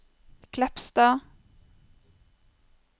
Kleppstad